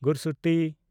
ᱜᱩᱨᱥᱩᱛᱤ